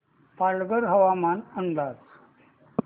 पालघर हवामान अंदाज